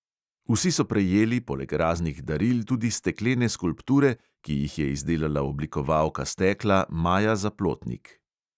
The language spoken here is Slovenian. Vsi so prejeli poleg raznih daril tudi steklene skulpture, ki jih je izdelala oblikovalka stekla maja zaplotnik.